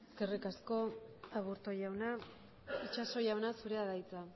eskerrik asko aburto jauna itxaso jauna zurea da hitza